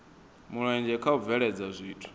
mulenzhe kha u bveledza zwithu